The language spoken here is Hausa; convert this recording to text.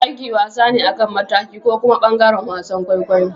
Aiki wasa ne akan mataki. ko kuma bangaren wasan kwaikwayo.